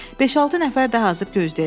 Beş-altı nəfər də hazır gözləyəcək.